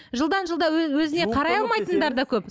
жылдан жылға өзіне қарай алмайтындар да көп